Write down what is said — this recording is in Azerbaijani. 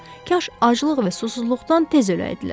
Kaş aclıq və susuzluqdan tez öləydilər.